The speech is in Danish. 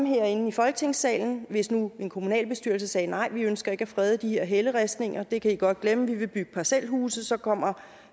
herinde i folketingssalen hvis nu en kommunalbestyrelse sagde nej vi ønsker ikke at frede de her helleristninger det kan i godt glemme vi vil bygge parcelhuse så kommer